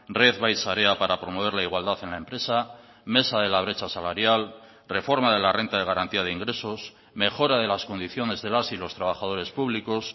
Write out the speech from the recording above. red bai sarea para promover la igualdad en la empresa mesa de la brecha salarial reforma de la renta de garantía de ingresos mejora de las condiciones de las y los trabajadores públicos